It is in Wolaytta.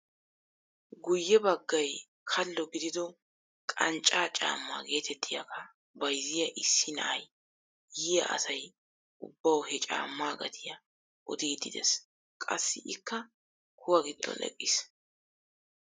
Guyye baggay kallo gidido qanccaa caammaa getettiyaaga bayzziyaa issi na'ay yiyaa asay ubbawu he caammaa gatiyaa odiidi de'es. qassi ikka kuwaa giddon eqqiis.